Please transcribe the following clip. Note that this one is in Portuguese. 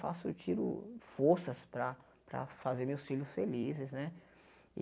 Faço, tiro forças para para fazer meus filhos felizes, né?